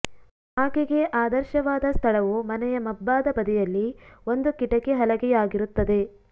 ಆಕೆಗೆ ಆದರ್ಶವಾದ ಸ್ಥಳವು ಮನೆಯ ಮಬ್ಬಾದ ಬದಿಯಲ್ಲಿ ಒಂದು ಕಿಟಕಿ ಹಲಗೆಯಾಗಿರುತ್ತದೆ